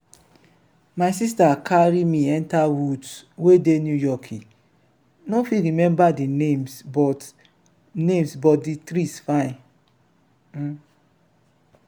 my sister carry me enter woods wey dey new yorki no fit remember the names but names but the trees fine.